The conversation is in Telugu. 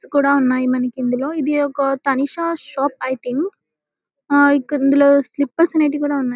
షాట్స్ కూడా ఉన్నాయి మనకి ఇందులో ఇది ఒక తానీషా షాప్ ఐ థింక్ హా ఇక్కడ ఇందులో స్లిప్పర్స్ అనేటివి కూడా ఉన్నాయి.